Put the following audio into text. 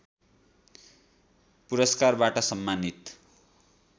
पुरस्कारबाट सम्मानित